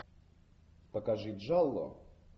покажи джалло